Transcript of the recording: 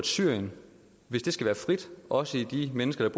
syrien skal være frit også i de menneskers